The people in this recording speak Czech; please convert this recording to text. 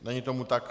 Není tomu tak.